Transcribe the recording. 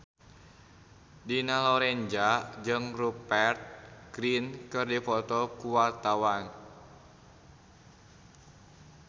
Dina Lorenza jeung Rupert Grin keur dipoto ku wartawan